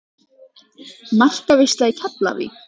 Markaveisla í Keflavík?